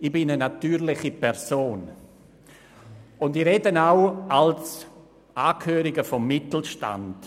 Ich bin eine natürliche Person, und ich spreche auch als Angehöriger des Mittelstands.